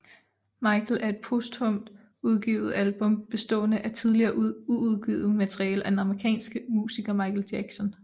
Michael er et posthumt udgivet album bestående af tidligere uudgivet materiale af den amerikanske musiker Michael Jackson